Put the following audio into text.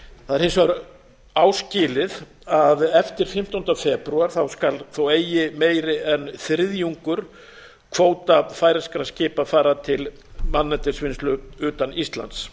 það er hins vegar áskilið að eftir fimmtánda febrúar skal þó eigi meira en einn þriðji hluti kvóta færeyskra skipa fara til manneldisvinnslu utan íslands